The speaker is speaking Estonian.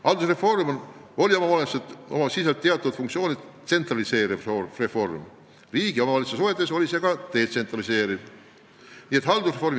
Haldusreform oli oma olemuselt, oma sisult ja teatud funktsioonilt riigi ja omavalitsuse suhetes detsentraliseeriv reform.